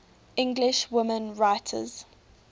english women writers